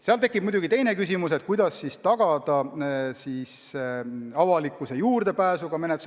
Kohe tekib muidugi teine küsimus: kuidas tagada siis avalikkuse juurdepääs?